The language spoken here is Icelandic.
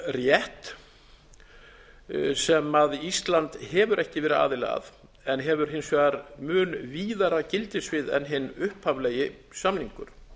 um vörumerkjarétt sem ísland hefur ekki verið aðili að en hefur hins vegar mun víðara gildissvið en hinn upphaflegi samningur